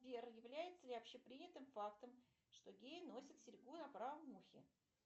сбер является ли общепринятым фактом что геи носят серьгу на правом ухе